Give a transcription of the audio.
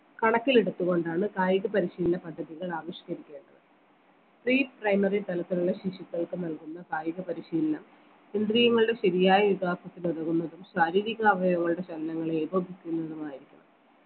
കണക്കിലെടുത്തു കൊണ്ടാണ് കായിക പരിശീലന പദ്ധതികൾ ആവിഷ്കരിക്കേണ്ടത് pre primary തലത്തിലുള്ള ശിശുക്കൾക്ക് നൽകുന്ന കായിക പരിശീലനം ഇന്ദ്രീയങ്ങളുടെ ശരിയായ വികാസത്തിനുതകുന്നതും ശാരീരിക അവയവങ്ങളുടെ ചലനങ്ങളെ ഏകോപിപ്പിക്കുന്നതുമായിരിക്കണം